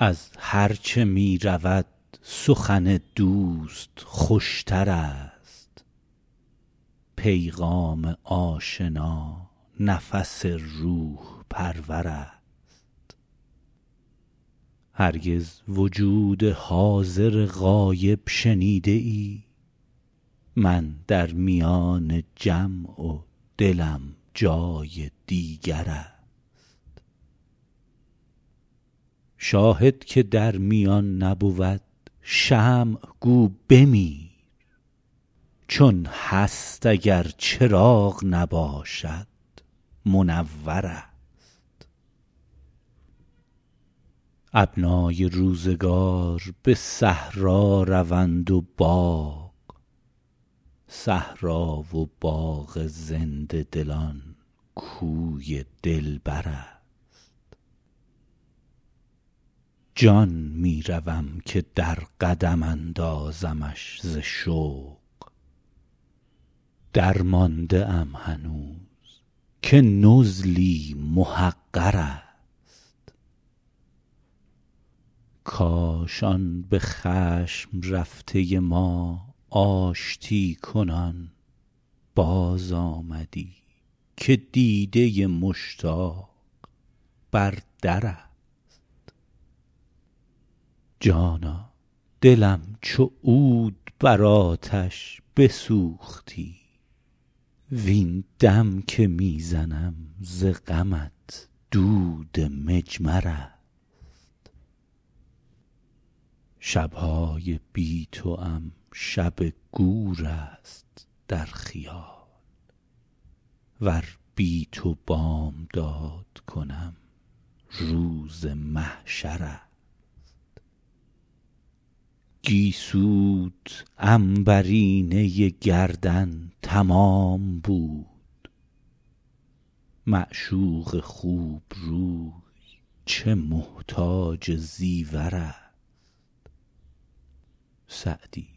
از هرچه می رود سخن دوست خوش تر است پیغام آشنا نفس روح پرور است هرگز وجود حاضر غایب شنیده ای من در میان جمع و دلم جای دیگر است شاهد که در میان نبود شمع گو بمیر چون هست اگر چراغ نباشد منور است ابنای روزگار به صحرا روند و باغ صحرا و باغ زنده دلان کوی دلبر است جان می روم که در قدم اندازمش ز شوق درمانده ام هنوز که نزلی محقر است کاش آن به خشم رفته ما آشتی کنان بازآمدی که دیده مشتاق بر در است جانا دلم چو عود بر آتش بسوختی وین دم که می زنم ز غمت دود مجمر است شب های بی توام شب گور است در خیال ور بی تو بامداد کنم روز محشر است گیسوت عنبرینه گردن تمام بود معشوق خوب روی چه محتاج زیور است سعدی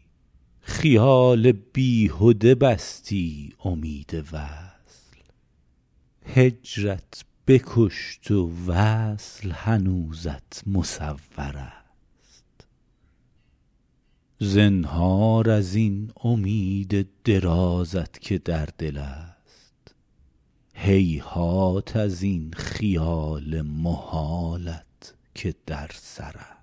خیال بیهده بستی امید وصل هجرت بکشت و وصل هنوزت مصور است زنهار از این امید درازت که در دل است هیهات از این خیال محالت که در سر است